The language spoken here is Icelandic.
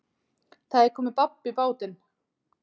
Það er komið babb í bátinn